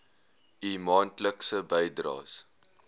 u maandelikse bydraes